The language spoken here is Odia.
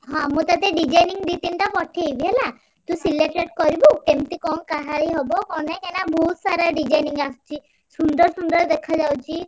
ହଁ ମୁଁ ତତେ designing ଦି ତିନିଟା ପଠେଇବି ହେଲା ତୁ selected କରିବୁ, କେମିତି କଣ କାହାଳୀ ହବ କଣ ନାଇଁ କାହିଁକିନା ବହୁତ୍ ସାରା designing ଆସଚି, ସୁନ୍ଦର ସୁନ୍ଦର ଦେଖାଯାଉଛି।